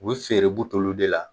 U bɛ feere buteliw de la